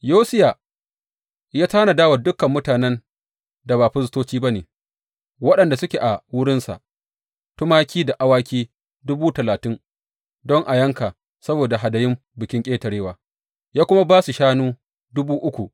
Yosiya ya tanada wa dukan mutanen da ba firistoci ba ne waɗanda suke a wurin, tumaki da awaki dubu talatin don a yanka saboda hadayun Bikin Ƙetarewa, ya kuma ba su shanu dubu uku.